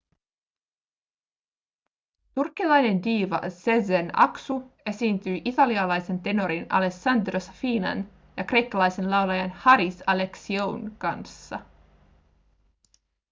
turkkilainen diiva sezen aksu esiintyi italialaisen tenorin alessandro safinan ja kreikkalaisen laulajan haris alexioun kanssa